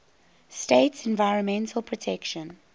states environmental protection